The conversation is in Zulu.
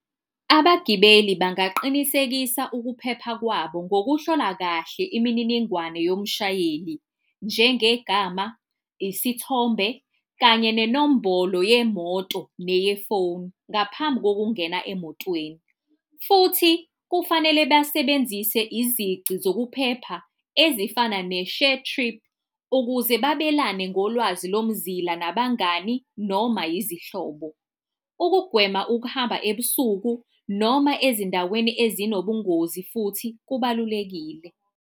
Abagibeli bangaqinisekisa ukuphepha kwabo ngokuhlola kahle imininingwane yomshayeli njengegama, isithombe, kanye nenombolo yemoto, neyefoni ngaphambi ngokungena emotweni. Futhi kufanele basebenzise izici zokuphepha ezifana ne-ShareTrip, ukuze babelane ngolwazi lomzila nabangani noma yizihlobo. Ukugwema ukuhamba ebusuku noma ezindaweni ezinobungozi, futhi kubalulekile.